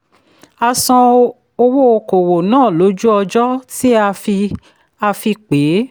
a san owó okòwò náà lójú ọjọ́ tí a fi a fi pé é.